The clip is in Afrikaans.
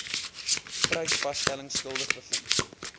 prysvasstelling skuldig bevind